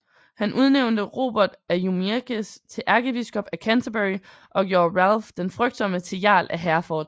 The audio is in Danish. Han udnævnte Robert af Jumièges til ærkebiskop af Canterbury og gjorde Ralph den Frygtsomme til jarl af Hereford